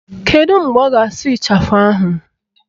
Kedu mgbe ọ ga-asụ ịchafụ ahụ?